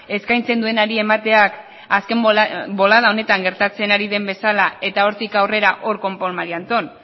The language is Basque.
eskaintzen duenari emateak azken bolada honetan gertatzen ari den bezala eta hortik aurrera hor konpon mari anton